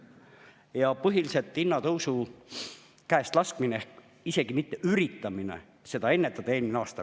Ja põhiliselt hinnatõusu käestlaskmine ehk isegi mitte üritamine seda vaos hoida eelmine aasta.